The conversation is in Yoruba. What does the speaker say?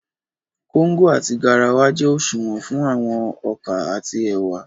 Kóngò àti garawa jẹ́ òṣùwọ̀n fún àwọn ọkà àti ẹ̀wà